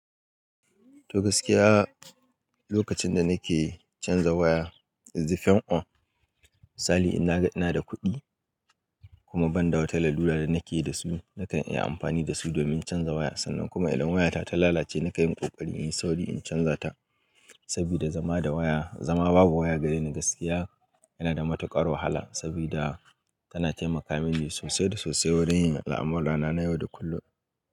To gaskiya, lokacin da nake canza waya, izi fen on misali ina da kuɗi kuma ban da wata larura da nake da su nakan iya amfani da su domin canza waya. Sannan kuma idan wayata ta lalace nakan yi ƙoƙari in yi sauri in canza ta saboda zama babu waya gareni gaskiya yana da matuƙar wahala sabida tana taimaka mini sosai da sosai wurin yin al'amurana na yau da kullum.